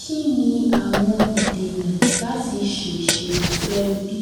Kíni àwọn ìdènà láti ṣe ìṣètò ẹbí